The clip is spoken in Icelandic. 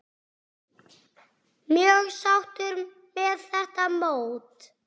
Mjög sáttur með þetta mót.